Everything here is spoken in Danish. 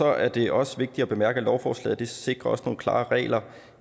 er det også vigtigt at bemærke at lovforslaget også sikrer nogle klare regler